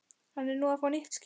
Hann er nú að fá nýtt skip.